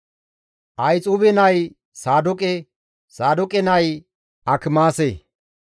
Ahixuube nay Saadooqe; Saadooqe nay Akimaase.